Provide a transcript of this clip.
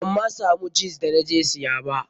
Ban ma samu jins da na je siya ba.